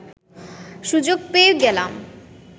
সুযোগ পেয়ে গেলাম